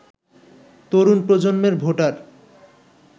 তরুণ প্রজন্মের ভোটার